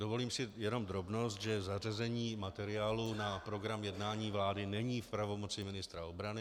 Dovolím si jenom drobnost, že zařazení materiálu na program jednání vlády není v pravomoci ministra obrany.